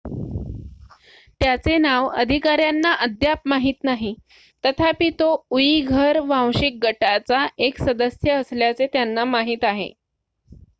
त्याचे नाव अधिकाऱ्यांना अद्याप माहीत नाही तथापि तो उईघर वांशिक गटाचा एक सदस्य असल्याचे त्यांना माहीत आहे